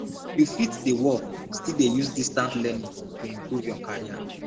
you fit dey work still dey use distance learning to improve your carrer